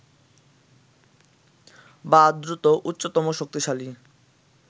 বা দ্রুত, উচ্চতম শক্তিশালী